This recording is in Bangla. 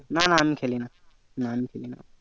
না না আমি খেলি না আমি খেলিনা